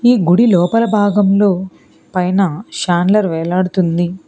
ఈ గుడి లోపల భాగంలో పైన చందలిర్ వేలాడుతుంది.